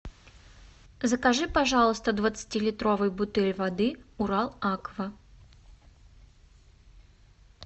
закажи пожалуйста двадцати литровую бутыль воды урал аква